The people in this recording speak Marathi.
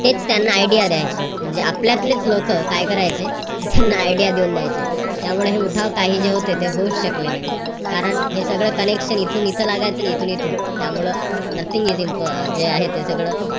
तेच त्यांना idea द्यायचे म्हणजे आपल्यातलेच लोक काय करायचे त्यांना idea देऊन द्यायचे त्यामुळं हे जे उठाव काही जे होते ते होऊच शकले नाही. कारण हे सगळं connection इथून इथं लागायचं कि इथून इथं त्यामुळे nothing हे जे आहे ते सगळं